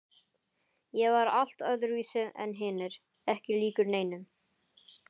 Ég var allt öðruvísi en hinir, ekki líkur neinum.